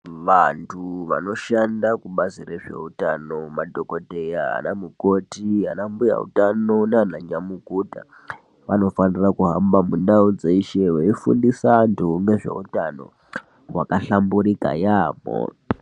Vanthu vanoshanda kubazi rezveutano madhokodheya ana mukoti ana mbuya utano nana nyamukuta vanofanira kuhamba mundau dzeshe veifundisa anthu ngezveutano hwakahlamburika yaambho.